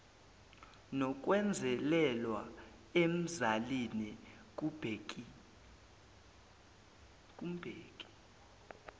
nokwenzelelwa emzalini kumbheki